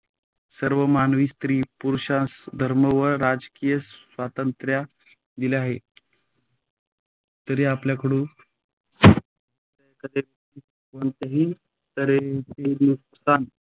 सर्व मानवी स्त्री - पुरुषांस धर्म व राजकीय स्वतंत्रत दिली आहे. जो आपल्याकळुन दुसऱ्या एखाद्या व्यक्तीस